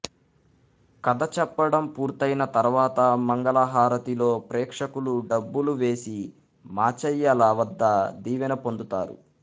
కథ చెప్పడం పూర్తయిన తర్వాత మంగళహారతిలో ప్రేక్షకులు డబ్బులు వేసి మాచయ్యల వద్ద దీవెన పొందుతారు